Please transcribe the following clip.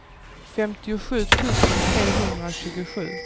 femtiosju tusen trehundratjugosju